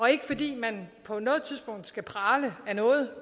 er ikke fordi man på noget tidspunkt skal prale af noget